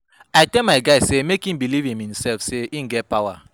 I tell my guy sey make im believe in imsef sey im get power.